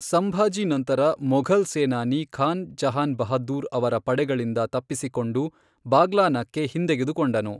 ಸಂಭಾಜಿ ನಂತರ ಮೊಘಲ್ ಸೇನಾನಿ ಖಾನ್ ಜಹಾನ್ ಬಹದ್ದೂರ್ ಅವರ ಪಡೆಗಳಿಂದ ತಪ್ಪಿಸಿಕೊಂಡು ಬಾಗ್ಲಾನಾಕ್ಕೆ ಹಿಂತೆಗೆದುಕೊಂಡನು.